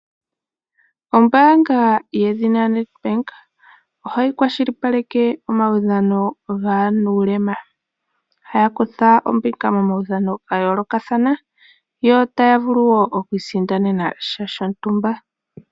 Oombanga yedhina NetBank ohayi kwashilipaleke omawudhano gaanulema, haya kutha ombinga momawudhano ga yoolokathana otaya vulu wo okwiisindanena sha shontumba.